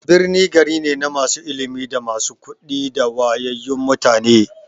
Birni gari ne na masu ilimi, da masu kuɗi da wayayyun mutane.